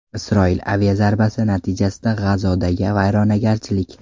Isroil aviazarbasi natijasida G‘azodagi vayronagarchilik.